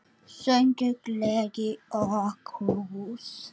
Söngur, gleði og knús.